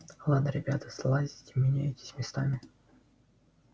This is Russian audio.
ладно ребята слазьте меняетесь местами